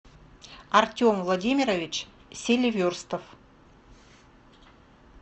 артем владимирович селиверстов